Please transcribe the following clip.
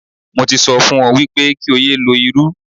Mo ti sọ fún ọ wípé kí o yé lo irú.